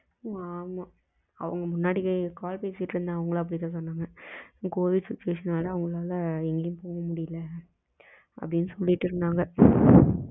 ஆமா அவுங்க முன்னாடி call பேசிட்டு இருந்த அவுங்களா பேச சொன்னங்க covid situation லால எங்கயும் போக முடியல அப்டின்னு சொல்லிட்டு இருந்தாங்க